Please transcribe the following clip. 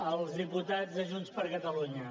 als diputats de junts per catalunya